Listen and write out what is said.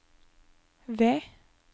V